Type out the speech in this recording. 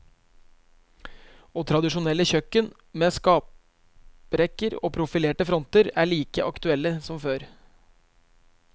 Og tradisjonelle kjøkken med skaprekker og profilerte fronter er like aktuell som før.